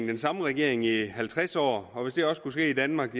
den samme regering i halvtreds år og hvis det også kunne ske i danmark